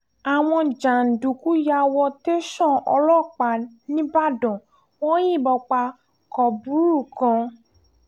àwọn jàǹdùkú yà wo tẹ̀sán ọlọ́pàá nígbàdàn wọn yìnbọn pa kọ́bùrú kan